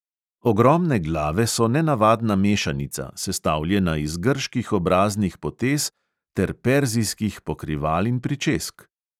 Ogromne glave so nenavadna mešanica, sestavljena iz grških obraznih potez ter perzijskih pokrival in pričesk.